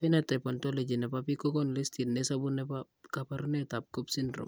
Phenotype Ontology ne po biik kokonu listit nesubu ne po kaabarunetap Cobb Syndrome.